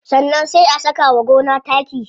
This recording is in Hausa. Sannan sai a saka wa gona taki.